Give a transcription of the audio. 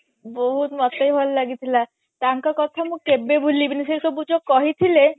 ବହୁତ ମତେ ବି ଭଲା ଲାଗିଥିଲା ତାଙ୍କ କଥା ମୁଁ କେବେ ଭୁଲିବିନି ସେ ସବୁ ଯୋଉ କହିଥିଲେ